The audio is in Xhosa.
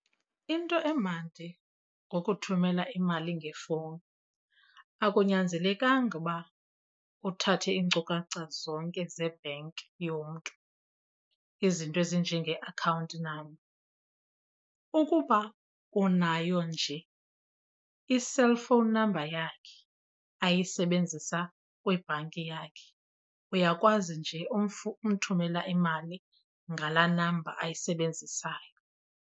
Into emandi ngokuthumela imali ngefowuni akunyanzelekanga uba uthathe iinkcukacha zonke zebhenki yomntu izinto ezinjenge-account number. Ukuba unayo nje i-cellphone number yakhe ayisebenzisa kwibhanki yakhe, uyakwazi nje umthumela imali ngalaa namba ayisebenzisayo.